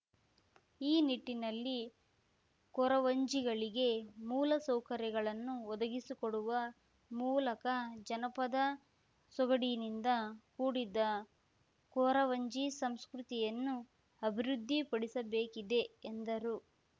ಈ ನಿಟ್ಟಿನಲ್ಲಿ ಕೊರವಂಜಿಗಳಿಗೆ ಮೂಲ ಸೌಕರ್ಯಗಳನ್ನು ಒದಗಿಸಿಕೊಡುವ ಮೂಲಕ ಜನಪದ ಸೊಗಡಿನಿಂದ ಕೂಡಿದ ಕೊರವಂಜಿ ಸಂಸ್ಕೃತಿಯನ್ನು ಅಭಿವೃದ್ಧಿ ಪಡಿಸಬೇಕಿದೆ ಎಂದರು